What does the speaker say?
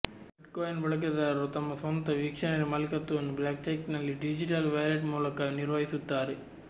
bitcoin ಬಳಕೆದಾರರು ತಮ್ಮ ಸ್ವಂತ ವಿಕ್ಷನರಿ ಮಾಲೀಕತ್ವವನ್ನು ಬ್ಲಾಕ್ಚೈನ್ನಲ್ಲಿ ಡಿಜಿಟಲ್ ವ್ಯಾಲೆಟ್ ಮೂಲಕ ನಿರ್ವಹಿಸುತ್ತಾರೆ